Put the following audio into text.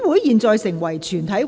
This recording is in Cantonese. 現在成為全體委員會。